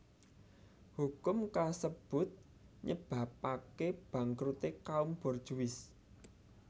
Hukum kasebut nyebabapké bangkruté kaum borjuis